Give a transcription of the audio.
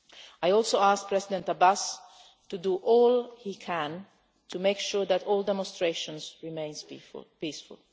I also asked President Abbas to do all he can to make sure that all demonstrations remain peaceful.